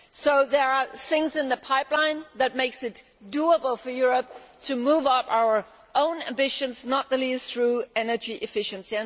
So there are things in the pipeline that make it do able for Europe to step up our own ambitions, not least through energy efficiency.